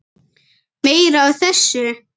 Meira af þessu!